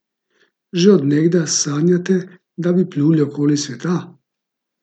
Že od nekdaj sanjate, da bi pluli okoli sveta?